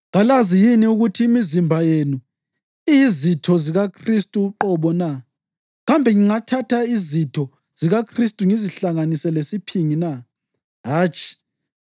Kalazi yini ukuthi imizimba yenu iyizitho zikaKhristu uqobo na? Kambe ngingathatha izitho zikaKhristu ngizihlanganise lesiphingi na? Hatshi!